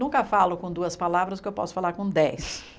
Nunca falo com duas palavras que eu posso falar com dez palavras.